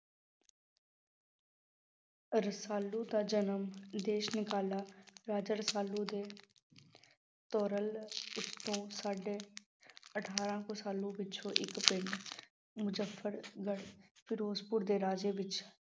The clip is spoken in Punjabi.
ਰਸਾਲੂ ਦਾ ਜਨਮ, ਦੇਸ ਨਿਕਾਲਾ ਰਾਜਾ ਰਸਾਲੂ ਦੇ ਉੱਤੋਂ ਸਾਢੇ ਅਠਾਰਾਂ ਕੁ ਸਾਲਾਂ ਪਿੱਛੋਂ ਇੱਕ ਪਿੰਡ ਮੁਜੱਫਰਗੜ ਫਿਰੋਜ਼ਪੁਰ ਦੇ ਰਾਜ ਵਿੱਚ